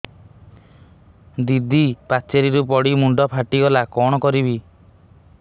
ଦିଦି ପାଚେରୀରୁ ପଡି ମୁଣ୍ଡ ଫାଟିଗଲା କଣ କରିବି